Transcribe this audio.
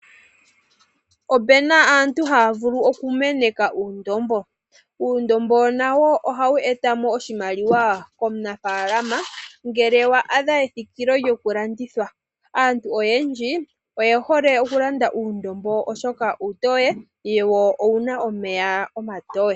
Opu na aantu haya vulu okumeneka uundombo. Uundombo nawo ohawu etamo oshimaliwa komunafalama ngele wa adha ethikile lyokulandithwa. Aantu oyendji oye hole okulanda uundombo oshoka uutoye wo owu na omeya omatoye.